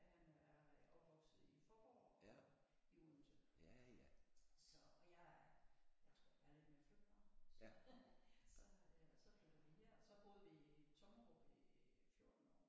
Han er øh opvokset i Faaborg og i Odense så jeg jeg tror jeg er lidt mere flytbar så så og så flyttede vi her og så boede vi i Tommerup i 14 år